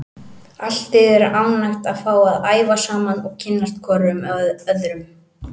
Allt liðið er ánægt að fá að æfa saman og kynnast hvorum öðrum.